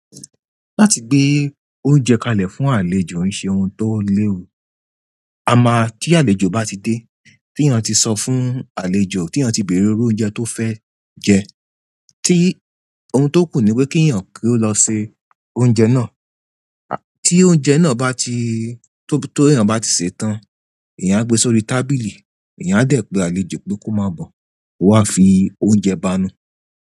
Láti gbé oúnjẹ kalẹ̀ fún àlejò ń ṣe ohun tó léwu. A máa tí àlejò bá ti dé, tí èèyàn tí sọ fún àlejò, tí èèyàn tí bèrè iru oúnjẹ tó fẹ́ jẹ, tí ohun tó kù ni pé kí èèyàn kí ó lọ se oúnjẹ náà. Tí oúnjẹ náà bá ti-- tó bí èèyàn bá ti sè é tán, èèyàn á gbe sórí tábìlì, èèyàn á dẹ̀ pe àlejò pé kó máa bọ̀, kó wa fi oúnjẹ bá nu.